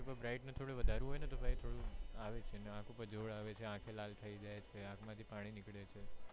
bright ને થોડું વધારવું હોય નર ત્યારે થોડું આવે છે આંખ ઉપ્પર જોર આવે છે આંખે લાલ થઇ જાય છે આંખ માંથી પાણી નીકળે છે.